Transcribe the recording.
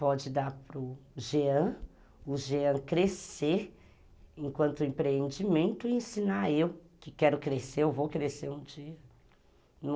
Pode dar para o Jean, o Jean crescer enquanto empreendimento e ensinar eu que quero crescer, eu vou crescer um dia.